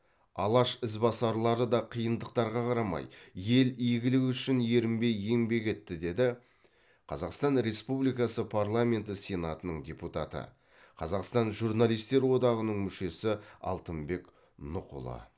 алаш ізбасарлары да қиындықтарға қарамай ел игілігі үшін ерінбей еңбек етті деді қазақстан республикасы парламенті сенатының депутаты қазақстан журналистер одағының мүшесі алтынбек нұхұлы